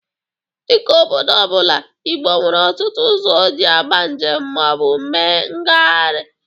Dịka obodo ọ bụla, Igbo nwere ọtụtụ ụzọ o ji agba njem ma ọ bụ mee mgaharịa.